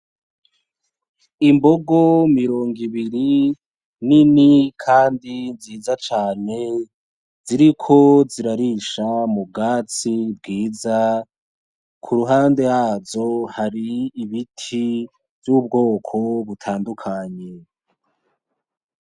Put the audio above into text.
Imbogo mirogo ibiri, nini kandi nziza cane, ziriko zirarisha m’ubwatsi bwiza, kuruhande hazo hari ibiti z’ubwoko butandukanye.